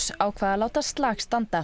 ákvað að láta slag standa